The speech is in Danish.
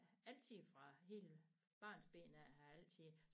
Altid fra hele barnsben af har jeg altid